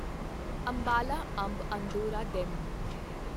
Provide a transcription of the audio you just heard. Ambala Amb Andaura DEMU